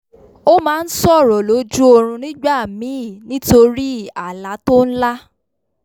o máa n sọ̀rọ̀ lójú oorún nígbà míì nítorí àlá tó n lá